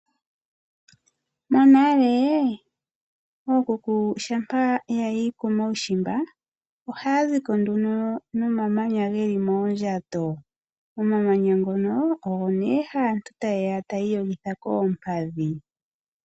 Monale ookuku shampa ya yi komaushimba, ohaya zi ko nduno nomamanya ge li moondjato. Omamanya ngono ogo nduno aantu haya iyogitha koompadhi.